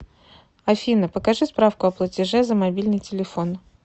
афина покажи справку о платеже за мобильный телефон